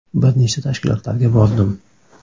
Bir nechta tashkilotlarga bordim.